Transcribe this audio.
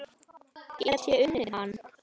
Get ég unnið hann?